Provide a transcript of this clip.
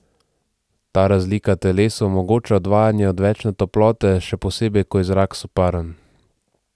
Ta razlika telesu omogoča odvajanje odvečne toplote, še posebej ko je zrak soparen.